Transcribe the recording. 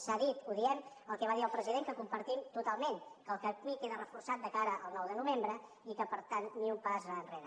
s’ha dit ho diem el que va dir el president que compartim totalment que el camí queda reforçat de cara al nou de novembre i que per tant ni un pas enrere